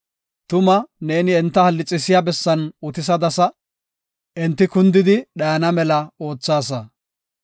Tuma neeni enta hallixiya bessan utisadasa; enti kundidi dhayana mela oothaasa.